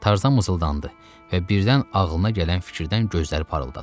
Tarzan mızıldandı və birdən ağlına gələn fikirdən gözləri parıldadı.